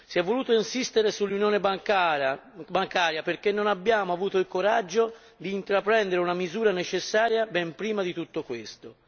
Si è voluto insistere sull'Unione bancaria perché non abbiamo avuto il coraggio di intraprendere una misura necessaria ben prima di tutto questo.